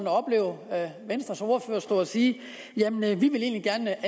at opleve venstres ordfører stå og sige at man egentlig gerne